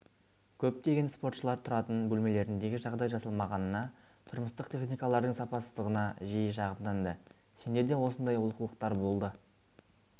көптеген спортшылар тұратын бөлмелеріндегі жағдай жасалмағанына тұрмыстық техникалардың сапасыздығына жиі шағымданды сенде де осындай олқылықтар болды